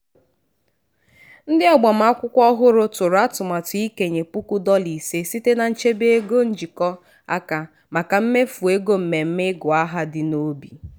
ndị agbamakwụkwọ ọhụrụ tụrụ atụmatụ ikenye puku dọla ise site na nchebe ego njikọ aka maka mmefu ego mmemme ịgụ aha dị n'obi.